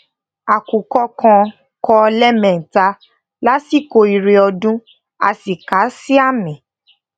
àkùkọ kan kọ lẹ́ẹ̀mẹta lasiko ìre ọdun a sì kàá sí àmì